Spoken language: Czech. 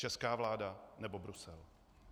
Česká vláda, nebo Brusel?